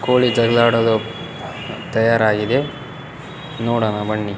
ಕೋಳಿ ಜಗಳ ಆಡೋದು ತಯರಾಗಿದೆ ನೋಡೋಣ ಬನ್ನಿ.